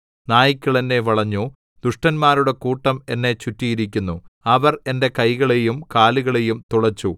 നായ്ക്കൾ എന്നെ വളഞ്ഞു ദുഷ്ടന്മാരുടെ കൂട്ടം എന്നെ ചുറ്റിയിരിക്കുന്നു അവർ എന്റെ കൈകളെയും കാലുകളെയും തുളച്ചു